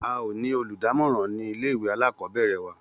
A ò ní olùdámòràn nílé ìwé alákòóbèrè wa